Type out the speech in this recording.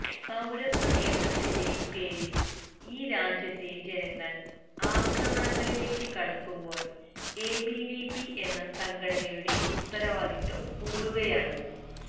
പൌരത്വ നിയമത്തിന്റെറെ പേരില് ഈ രാജ്യത്തെ ജനങ്ങള് അക്രമണങ്ങളിലേക്ക് കടക്കുമ്പോള് എബിവിപി എന്ന സംഘടനയുടെ ഉത്തരവാദിത്വം കൂടുകയാണ്